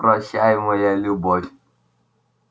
прощай моя любовь